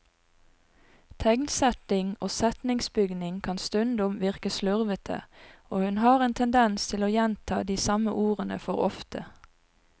Tegnsetting og setningsbygning kan stundom virke slurvete, og hun har en tendens til å gjenta de samme ordene for ofte.